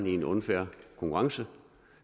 i unfair konkurrence